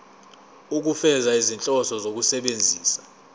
ukufeza izinhloso zokusebenzisa